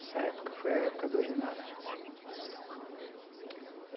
Essa época foi a época do ginásio.